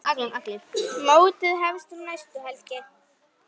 Mótið hefst um næstu helgi.